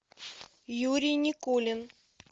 юрий никулин